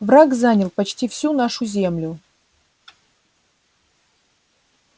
враг занял почти всю нашу землю